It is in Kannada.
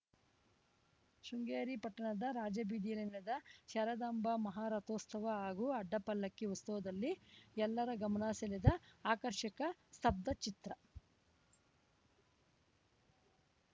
ಶೃಂಗೇರಿ ಪಟ್ಟಣದ ರಾಜಬೀದಿಯಲ್ಲಿ ನಡೆದ ಶಾರದಾಂಬಾ ಮಹಾರಥೋತ್ಸವ ಹಾಗೂ ಅಡ್ಡಪಲ್ಲಕ್ಕಿ ಉತ್ಸವದಲ್ಲಿ ಎಲ್ಲರ ಗಮನ ಸೆಳೆದ ಆಕರ್ಷಕ ಸ್ತಬ್ಧಚಿತ್ರ